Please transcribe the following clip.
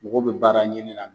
Mɔgɔw bɛ baara ɲini na